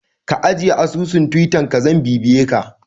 Ka ajiye asusun Twittar ka zan bibiye ka